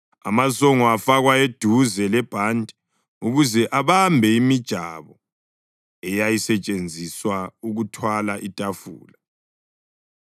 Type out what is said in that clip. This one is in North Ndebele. Amasongo afakwa eduze lebhanti ukuze abambe imijabo eyayisetshenziswa ukuthwala itafula.